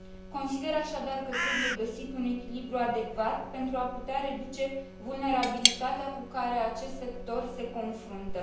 Consider, așadar, că trebuie găsit un echilibru adecvat pentru a putea reduce vulnerabilitatea cu care acest sector se confruntă.